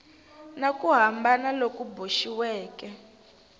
na ku hambana loku boxiweke